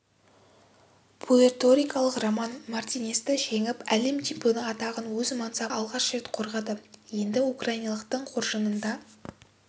пуэрторикалық роман мартинесті жеңіп әлем чемпионы атағын өз мансабында алғаш рет қорғады енді украиналықтың қоржынында